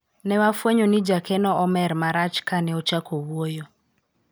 ne wafwenyo ni jakeno omer marach kane ochako wuoyo